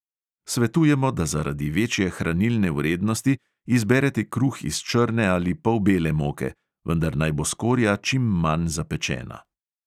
Svetujemo, da zaradi večje hranilne vrednosti izberete kruh iz črne ali polbele moke, vendar naj bo skorja čim manj zapečena.